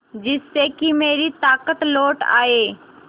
जिससे कि मेरी ताकत लौट आये